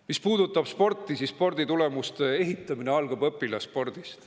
Mis puudutab sporti, siis sporditulemuste ehitamine algab õpilasspordist.